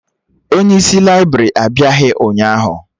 Onye isi laibrị abịaghị ụnyaahụ